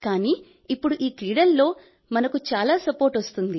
కానీ ఇప్పుడు ఈ క్రీడల్లో మనకు చాలా సపోర్ట్ వస్తోంది